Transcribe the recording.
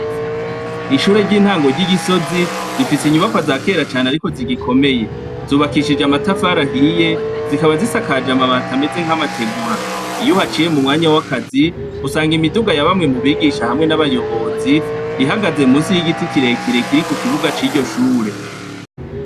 Ishure ry'intango ry'igisozi rifise inyubakwa zakera cane ariko zigikomeye, zubakishijwe amatafari ahiye zikaba zisakaje amabati ameze nk'amategura, iy'uhaciye mu mwanya w'akazi usanga imiduga yabamwe mubigisha hamwe n'abayobozi, ihagaze munsi y'igiti kirekire kiri kukibuga c'iryo shure.